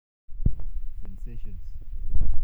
Sensations.